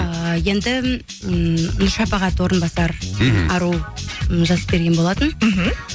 ыыы енді м шапағат орынбасар мхм ару м жазып берген болатын мхм